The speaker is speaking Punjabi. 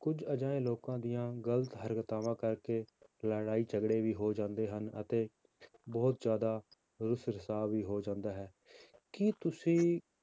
ਕੁੱਝ ਅਜਿਹੇ ਲੋਕਾਂ ਦੀਆਂ ਗ਼ਲਤ ਹਰਕਤਾਵਾਂ ਕਰਕੇ ਲੜ੍ਹਾਈ ਝਗੜੇ ਵੀ ਹੋ ਜਾਂਦੇ ਹਨ ਅਤੇ ਬਹੁਤ ਜ਼ਿਆਦਾ ਰੁਸ਼ ਰੁਸਾਵ ਵੀ ਹੋ ਜਾਂਦਾ ਹੈ, ਕੀ ਤੁਸੀਂ